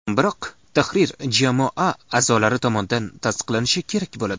Biroq tahrir jamoa a’zolari tomonidan tasdiqlanishi kerak bo‘ladi.